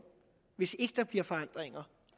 hvis ikke der bliver forandringer